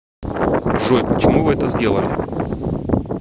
джой почему вы это сделали